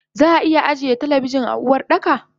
Zaa iya ajiye talabijin a Uwardaka